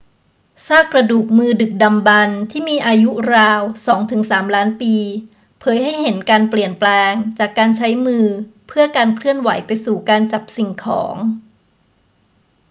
ซากกระดูกมือดึกดำบรรพ์ที่มีอายุราวสองถึงสามล้านปีเผยให้เห็นการเปลี่ยนแปลงจากการใช้มือเพื่อการเคลื่อนไหวไปสู่การจับสิ่งของ